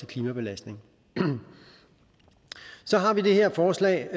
klimabelastning så har vi det her forslag